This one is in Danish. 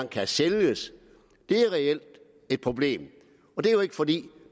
kan sælges det er reelt et problem og det er jo ikke fordi